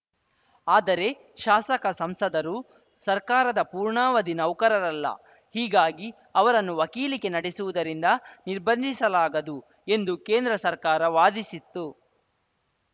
ಆದರೆ ಶಾಸಕಸಂಸದರು ಸರ್ಕಾರದ ಪೂರ್ಣಾವಧಿ ನೌಕರರಲ್ಲ ಹೀಗಾಗಿ ಅವರನ್ನು ವಕೀಲಿಕೆ ನಡೆಸುವುದರಿಂದ ನಿರ್ಬಂಧಿಸಲಾಗದು ಎಂದು ಕೇಂದ್ರ ಸರ್ಕಾರ ವಾದಿಸಿತ್ತು